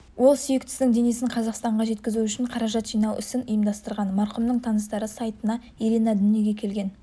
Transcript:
ол сүйіктісінің денесін қазақстанға жеткізу үшін қаражат жинау ісін ұйымдастырған марқұмның таныстары сайтына ирина дүниеге келген